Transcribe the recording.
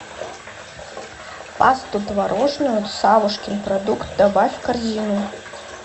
пасту творожную савушкин продукт добавь в корзину